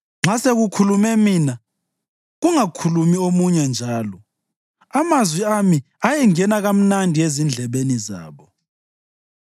Nxa sekukhulume mina, kungakhulumi omunye njalo; amazwi ami ayengena kamnandi ezindlebeni zabo.